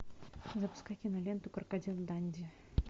запускай киноленту крокодил данди